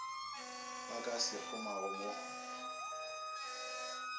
ba ka se kgomago mo